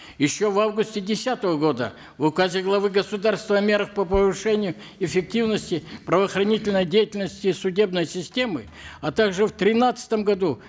еще в августе десятого года в указе главы государства о мерах по повышению эффективности правоохранительной деятельности судебной системы а также в тринадцатом году